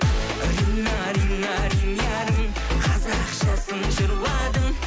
рина рина ринярым қазақшасын жырладым